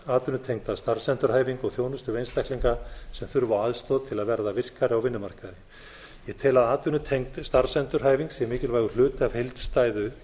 atvinnutengda starfsendurhæfingu og þjónustu við einstaklinga sem þurfa á aðstoð til að verða virkari á vinnumarkaði ég tel að atvinnutengd starfsendurhæfing sé mikilvægur hluti af heildstæðu